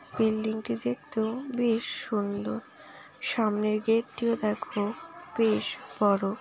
Building টি দেখতেওবেশ সুন্দর সামনের গেট টিও দেখো বেশ বড়।